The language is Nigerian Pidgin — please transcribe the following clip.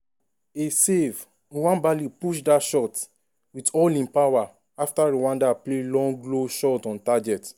a savenwabali push dat shot wit all im power afta rwanda play long low shot on target.